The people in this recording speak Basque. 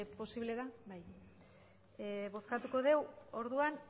posible da bai bozkatuko dugu orduan